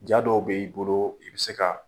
Jaa dɔw b'i bolo i bɛ se ka